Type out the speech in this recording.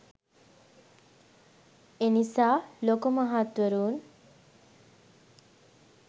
එනිසා ලොකු මහත්වරුන්